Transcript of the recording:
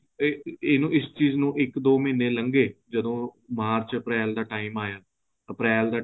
ਤੇ ਇਹਨੂੰ ਇਸ ਚੀਜ਼ ਨੂੰ ਇੱਕ ਦੋ ਮਹੀਨੇ ਲੱਗੇ ਜਦੋਂ ਮਾਰਚ ਅਪ੍ਰੈਲ ਦਾ time ਆਇਆ ਅਪ੍ਰੈਲ ਦਾ